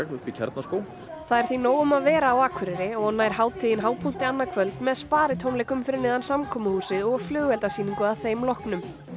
uppi í Kjarnaskógi það er því nóg um að vera Akureyri og nær hátíðin hápunkti annað kvöld með Sparitónleikum fyrir neðan samkomuhúsið og flugeldasýningu að þeim loknum